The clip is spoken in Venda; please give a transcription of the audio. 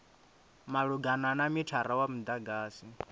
malugana na mithara wa mudagasi